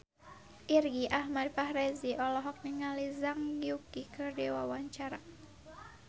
Irgi Ahmad Fahrezi olohok ningali Zhang Yuqi keur diwawancara